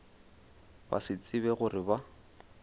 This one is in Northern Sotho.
ba se tsebe gore ba